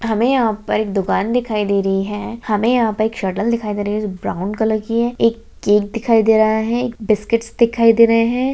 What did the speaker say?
हमें यहाँ पर एक दुकान दिखाई दे रही है हमें यहाँ पर एक शटर दिखाई दे रही है जो ब्राउन कलर की है एक केक दिखाई दे रहा है एक बिस्किट्स दिखाई दे रहे हैं।